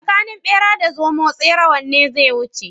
Tsakanin bera da zomo tsere wanne zai wuce?